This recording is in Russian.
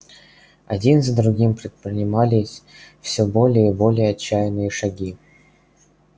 один за другим предпринимались все более и более отчаянные шаги